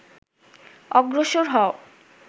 অগ্রসর হও